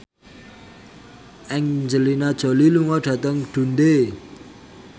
Angelina Jolie lunga dhateng Dundee